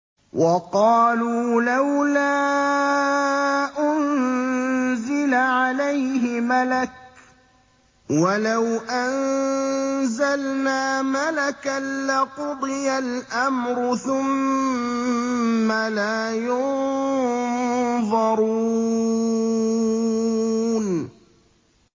وَقَالُوا لَوْلَا أُنزِلَ عَلَيْهِ مَلَكٌ ۖ وَلَوْ أَنزَلْنَا مَلَكًا لَّقُضِيَ الْأَمْرُ ثُمَّ لَا يُنظَرُونَ